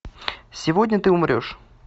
сегодня ты умрешь